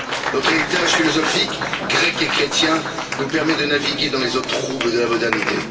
Notre héritage philosophique grec et chrétien nous permet de naviguer dans les eaux troubles de la modernité.